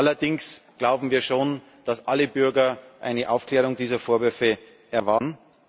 Allerdings glauben wir schon, dass alle Bürger eine Aufklärung dieser Vorwürfe erwarten.